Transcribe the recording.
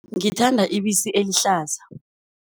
Ngithanda ibisi elihlaza.